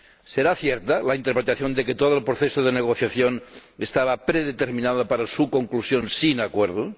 ¿Será cierta la interpretación de que todo el proceso de negociación estaba predeterminado para su conclusión sin acuerdo?